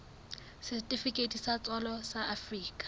setifikeiti sa tswalo sa afrika